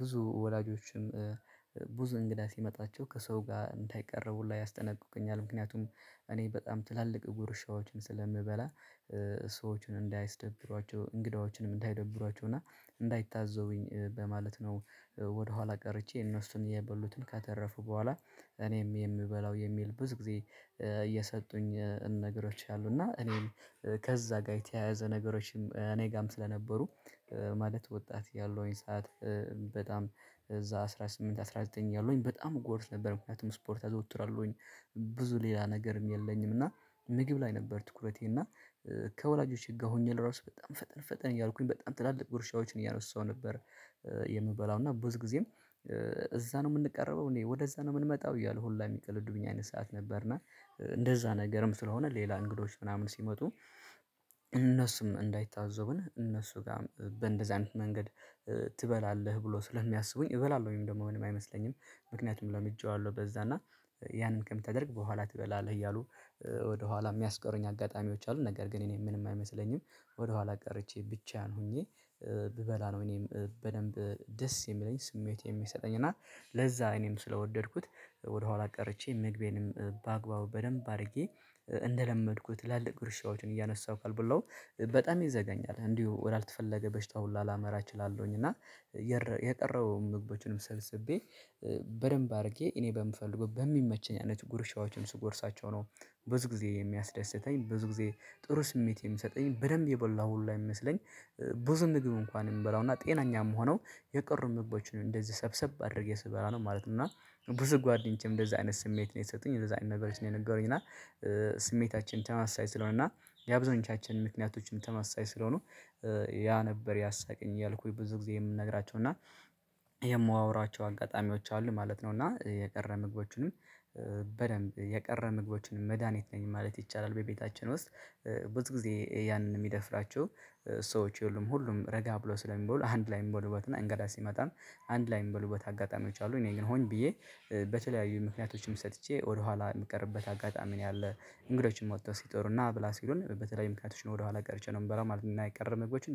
ብዙ ወላጆችም ብዙ እንግዳ ሲመጣቸው ከሰው ጋር እንዳይቀረቡ ላይ ያስጠነቁቁኛል ምክንያቱም እኔ በጣም ትላልቅ ጉርሻዎችን ስለምበላ ሰዎችን እንዳያስደብሯቸው እንግዳዎችንም እንዳይደብሯቸው እና እንዳይታዘቡኝ በማለት ነው። ወደ ቀርቼ እነሱን የበሉትን ከተረፉ በኋላ እኔም የምበላው የሚል ብዙ ጊዜ እየሰጡኝ ነገሮች ያሉ እና እኔም ከዛ ጋር የተያያዘ ነገሮችም እኔ ጋርም ስለነበሩ። ማለት ወጣት ያለውኝ ሰዓት በጣም እዛ አስራ ስምንት አስራ ዘጠኝ ያሉኝ በጣም እጎርስ ነበር ምክንያቱም ስፖርት አዘወትራለሁኝ። ብዙ ሌላ ነገርም የለኝም። እና ምግብ ላይ ነበር ትኩረቴ እና ከወላጆቼ ጋር ሆኜ ለራሱ በጣም ፈጠን ፈጠን እያልኩኝ በጣም ትላልቅ ጉርሻዎችን እያነሳሁ ነበር። የምበላው እና ብዙ ጊዜም እዛ ነው የምንቀረበው እኔ ወደዛ ነው የምንመጣው እያሉ ሁላ የሚቀልዱ ብኛን ሰዓት ነበርና። እንደዛ ነገርም ስለሆነ ሌላ እንግዶች ምናምን ሲመጡ እነሱም እንዳይታዘቡን እነሱ ጋር በእንደዚህ አይነት መንገድ። ትበላለህ ብሎ ስለሚያስቡኝ እበላለሁ ወይም ደግሞ ምንም አይመስለኝም። ምክንያቱም ለምጄዋለሁ በዛ እና ያንን ከምትተደርግ በኋላ ትበላለህ እያሉ ወደኋላ የሚያስቀሩኝ አጋጣሚዎች አሉ። ነገር ግን እኔ ምንም አይመስለኝም። ወደኋላ ቀርቼ ብቻዬን ሆኜ። ብበላ ነው እኔም በደንብ ደስ የሚለኝ ስሜቴ የሚሰጠኝ እና ለዛ እኔም ስለወደድኩት ወደኋላ ቀርቼ ምግቤንም በአግባቡ በደንብ አድርጌ። እንደለመድኩት ትላልቅ ግርሻዎችን እያነሳሁ ካልበላው በጣም ይዘገኛል እንዲሁ ወዳልተፈለገ በሽታው ላመራ እችላለሁኝ እና። የቀረውን ምግቦችንም ሰልስቤ በደንብ አድርጌ እኔ በምፈልገው በሚመቸኝ አይነት ጉርሻዎችን ስጎርሳቸው ነው። ብዙ ጊዜ የሚያስደስተኝ ብዙ ጊዜ ጥሩ ስሜት የምሰጠኝ በደንብ የበላሁ ሁሉ አይመስለኝ። ብዙ ምግብ እንኳን የምንበላው እና ጤናኛም ሆነው የቅርብ ምቦችን እንደዚህ ሰብሰብ አድርጌ ስበላ ነው ማለት ነው። እና ብዙ ጓደኞቼም እንደዚህ አይነት ስሜት ነው የሰጡኝ እንደዚህ አይነት ነገሮች ነው የነገሩኝ። እና ተመሳሳይ ስለሆነ እና የአብዛኞቻችን ምክንያቶችን ተመሳሳይ ስለሆኑ። ያ ነበር ያሳቀኝ እያልኩኝ ብዙ ጊዜ የምነግራቸው እና የምዋውራቸው አጋጣሚዎች አሉ ማለት ነው። እና የቀረ ምግቦችንም በደንብ የቀረ ምግቦችንም መድሃኒት ነኝ ማለት ይቻላል። በቤታችን ውስጥ። ብዙ ጊዜ ያንን የሚደፍራቸው ሰዎች የሉም ሁሉም ረጋ ብሎ ስለሚበሉ አንድ ላይ የሚበሉበትና እንግዳ ሲመጣም አንድ ላይ የሚበሉበት አጋጣሚዎች አሉ። እኔ ግን ሆኜ ብዬ በተለያዩ ምክንያቶችም ሰጥቼ ወደኋላ የምቀርብበት አጋጣሚ ነው ያለ። እንግዶችን ወጥተው ሲጠሩ ና ብላ ሲሉን በተለያዩ ምክንያቶች ነው ወደኋላ ቀርቸ ነው የምበላው ማለት ነው። አና የቀረ ምግቦችን